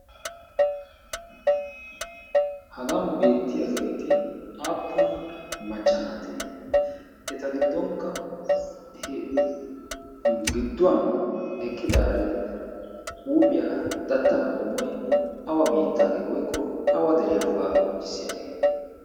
Hagan beettiyaageeti aappun macca naatee? eta giddonkka gidduwan eqqidaari huuphiyaa datta qommoy awa biittagee woyko awa deriyaa wogaa qonccissiyaagee?